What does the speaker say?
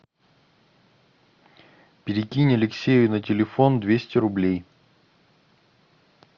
перекинь алексею на телефон двести рублей